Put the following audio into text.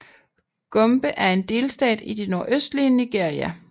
Gombe er en delstat i det nordøstlige Nigeria